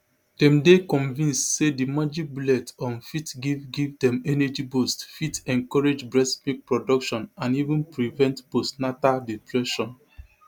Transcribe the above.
dem dey convinced say di magic bullet um fit give give dem energy boost fit encourage breastmilk production and even prevent postnatal depression